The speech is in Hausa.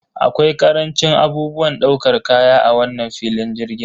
Akwai karancin abubuwan ɗaukar kaya a wannan filin jirgin.